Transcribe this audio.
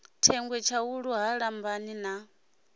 thengwe tshaulu ha lambani na